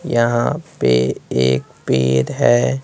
यहाँ पे एक पेर है।